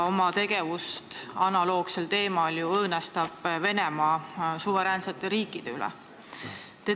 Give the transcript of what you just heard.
Venemaa õõnestab oma tegevusega suveräänsete riikide sõltumatust.